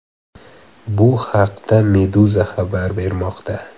Bu haqda Meduza xabar bermoqda .